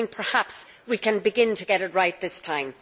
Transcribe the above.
Perhaps we can begin to get it right this time.